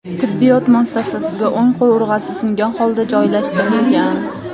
tibbiyot muassasasiga o‘ng qovurg‘asi singan holda joylashtirilgan.